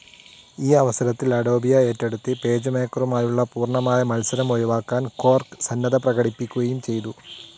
ആ അവസരത്തിൽ അഡോബിയെ ഏറ്റെടുത്ത് പേജ്മേക്കറുമായുള്ള പൂർണ്ണമായ മൽസരം ഒഴിവാക്കാൻ ക്വാർക്ക്‌ സന്നദ്ധത പ്രകടിപ്പിക്കുകയും ചെയ്തു.